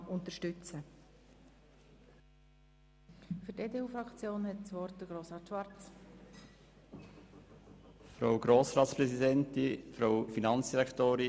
Wir unterstützen die Massnahme im Umfang der ganzen 13 Mio. Franken.